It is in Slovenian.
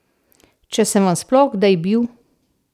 Če sem vam sploh kdaj bil.